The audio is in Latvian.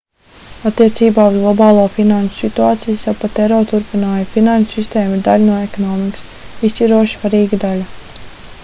attiecībā uz globālo finanšu situāciju sapatero turpināja: finanšu sistēma ir daļa no ekonomikas izšķiroši svarīga daļa